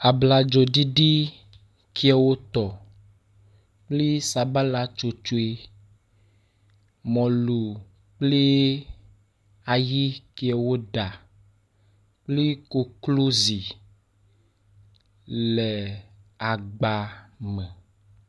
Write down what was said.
Abladzo ɖiɖi ke wotɔ kple sabala tsotsoe. Mɔlu kple ayi ke woɖa kple koklozi le agba me.